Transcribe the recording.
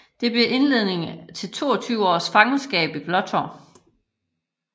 Det blev indledningen til 22 års fangenskab i Blåtårn